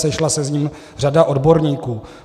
Sešla se s ním řada odborníků.